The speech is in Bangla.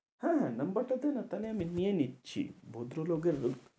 হ্যাঁ হ্যাঁ number টা দে না তাহলে আমি নিয়ে নিচ্ছি। ভদ্রলোকের